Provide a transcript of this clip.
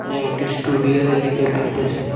এখানে একটি স্টুডিও দেখিতে পাইতেসি।